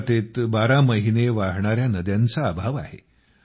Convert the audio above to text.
गुजरातेत बारा मास वाहणाऱ्या नद्यांचा अभाव आहे